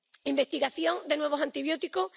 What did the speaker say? ¿Investigación de nuevos antibióticos?